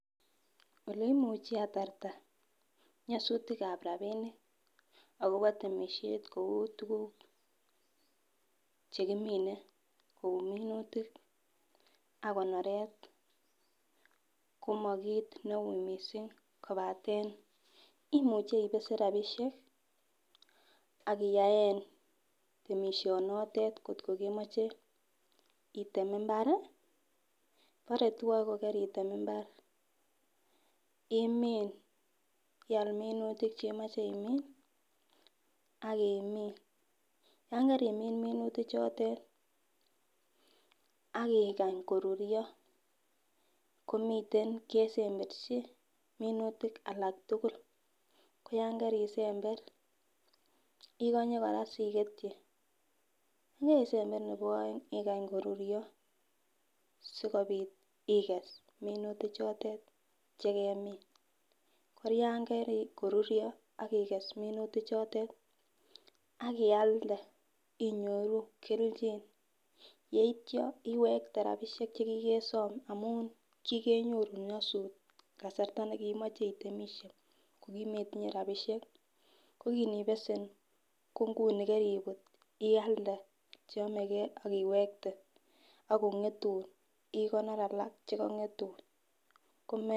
Oleimuchi atarta nyisutikab rabinik akobo temishet kou tukuk chekimiten kou minutik ak kotoret komo kit neu missing kobaten imuche ibesen rabishek akiyaen temisho notet kotko kemoche item imbar, bore twle ko keritem imbar imin ial minutik chemoche imin ak imin, yon kakimin minutik chotet ak ikany koruryo komiten kesemberchi minutik alak tukul koyon kerisember ikonye koraa siketyi, yekesember nebo oeng ikany koruryo sikopit iges minutik chotet chekemin. Ko yon kokoruryo ak iges minutik chotet ak ilade inyoru keliljin yeityo iwekte rabishek chekiks chekikesom amun kikenyoru nyosut kasarta nekomoche itemishe ko kimetinye rabishek ko kinibesen ko nguni kiribut ialde chenomegee ak iwekte ak kongetun ikonor alak chekongetun kome.